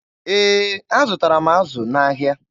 Ee, azụtara m azụ n'ahịa.